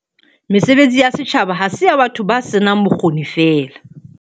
Mesebetsi ya setjhaba ha se ya batho ba senang bokgoni feela.